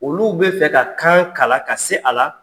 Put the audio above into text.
Olu bɛ fɛ ka kan kalan ka se a la